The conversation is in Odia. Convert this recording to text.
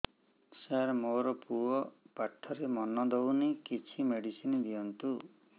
ସାର ମୋର ପୁଅ ପାଠରେ ମନ ଦଉନି କିଛି ମେଡିସିନ ଦିଅନ୍ତୁ